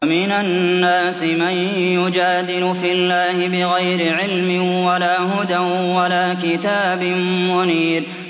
وَمِنَ النَّاسِ مَن يُجَادِلُ فِي اللَّهِ بِغَيْرِ عِلْمٍ وَلَا هُدًى وَلَا كِتَابٍ مُّنِيرٍ